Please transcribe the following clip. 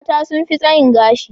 Mata sun fi tsayin gashi.